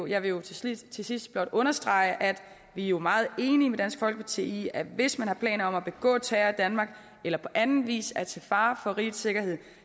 jeg vil til sidst til sidst blot understrege at vi jo er meget enige med dansk folkeparti i at hvis man har planer om at begå terror i danmark eller på anden vis er til fare for rigets sikkerhed